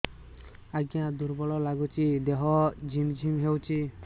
ଆଜ୍ଞା ଦୁର୍ବଳ ଲାଗୁଚି ଦେହ ଝିମଝିମ ହଉଛି